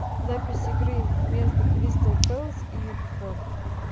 запись игры между кристал пэлас и уотфорд